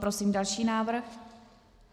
Prosím další návrh.